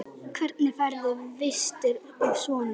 Hvernig færðu vistir og svona?